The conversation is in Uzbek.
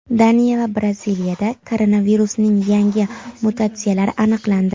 Daniya va Braziliyada koronavirusning yangi mutatsiyalari aniqlandi.